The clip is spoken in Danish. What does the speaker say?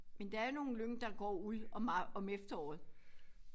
Men der er nogle lyng der går ud om om efteråret